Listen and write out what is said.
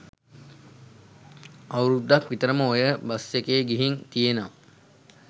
ඇවුරුදුක් විතරම ඔය බස් එකෙ ගිහින් තියෙනවා